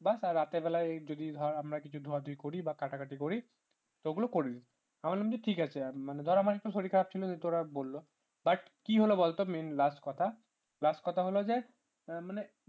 বা রাতের বেলায় যদি ধর আমরা কিছু ধোয়া ধুই করি বা কাটাকাটি করি ওগুলো করবি আমি বললাম তো ঠিক আছে আমি মানে ধর আমার একটু শরীর খারাপ ছিল তোরা বলল but কি হল বলতো main last কথা হলো যে মানে